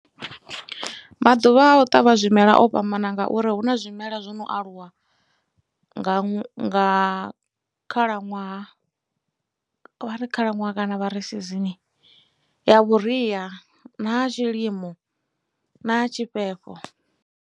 Maḓuvha a u ṱavha zwimela o fhambana ngauri hu na zwimela zwo no aluwa nga khalaṅwaha vha ri khalaṅwaha kana vha season ya vhuria na ya tshilimo na ya tshifhefho.